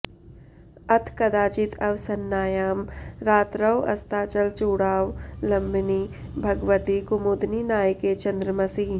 अथ कदाचिद् अवसन्नायां रात्रौ अस्ताचलचूडावलम्बिनि भगवति कुमुदिनीनायके चन्द्रमसि